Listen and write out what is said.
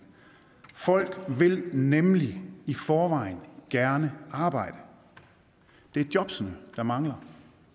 folk vil nemlig i forvejen gerne arbejde det er jobbene der mangler